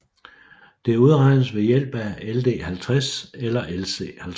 Det udregnes ved hjælp af LD50 eller LC50